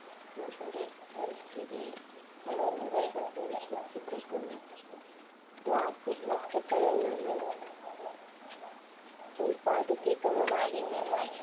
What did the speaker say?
നമ്മുടെ പരിസ്ഥിതിയെ വളരെ വേഗത്തിൽ നശിപ്പിക്കുന്ന plastic വസ്തുക്കളിൽ നിന്ന് ഉല്പാദിപ്പിക്കുന്ന മാലിന്യങ്ങളെ